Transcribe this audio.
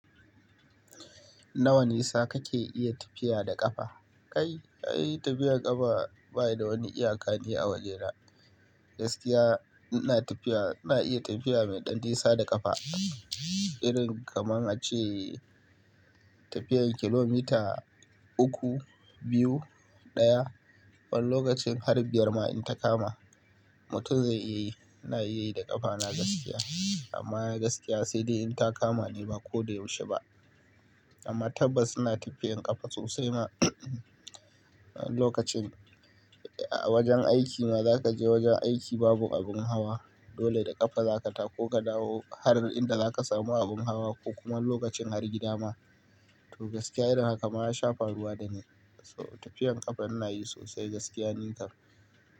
Nawa nisa kake iya tafiya da ƙafa? Kai, ai tafiyar ƙafa baida wani iyaka ne a wajena. Gaskiya ina tafiya, ina iya tafiya mai ɗan nisa da ƙafa. Irin kamar ace tafiyar kilomita uku, biyu, ɗaya. Wani lokacin har biyar ma in ta kama, mutum zai iya yi. Ina iya yi da ƙafana gaskiya. Amma gaskiya sai dai in ta kama ne ba ko da yaushe ba. Amma tabbas ina tafiyan ƙafa sosai ma lokacin a wajen aiki ma zaka je wajen aiki babu abin hawa. Dole da ƙafa zaka tako ka dawo har inda zaka samu abin hawa ko kuma lokacin har gida ma. To gaskiya irin haka ma ya sha faruwa da ni. So tafiyan ƙafa ina yi sosai gaskiya ni kam.